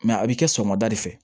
a bi kɛ sɔgɔmada de fɛ